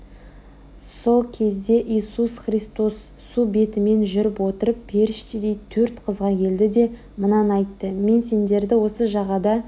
сол кезде иисус христос су бетімен жүріп отырып періштедей төрт қызға келді де мынаны айтты мен сендерді осы жағада